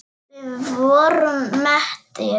Við vorum mettir.